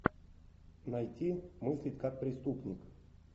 найти мыслить как преступник